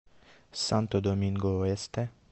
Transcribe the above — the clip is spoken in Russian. санто доминго оэсте